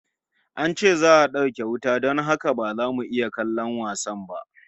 An ce za'a dauke wuta don haka ba za mu iya kallon wasan ba